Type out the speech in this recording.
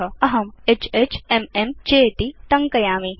अहं HHMM चेति टङ्कयिष्यामि